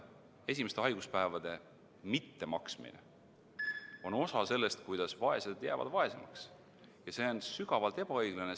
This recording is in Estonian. Esimeste haiguspäevade mittehüvitamine on osa sellest, kuidas vaesed jäävad vaesemaks, ja see on sügavalt ebaõiglane.